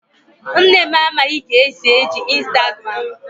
Nne m amaghị ka esi eji Instagram.